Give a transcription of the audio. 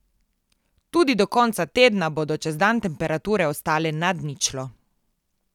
Tudi do konca tedna bodo čez dan temperature ostale nad ničlo.